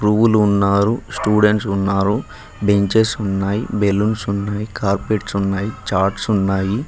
గురువులు ఉన్నారు స్టూడెంట్స్ ఉన్నారు బెంచెస్ ఉన్నాయి బెల్లూన్స్ ఉన్నాయి కార్పెట్స్ ఉన్నాయి చాట్స్ ఉన్నాయి.